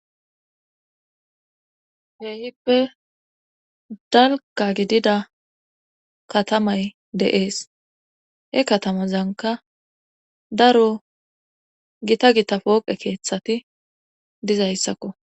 Keehippe dalga gidida katamay de'ees he katamazanka daro gita gita pooqe keeththati dizayssakko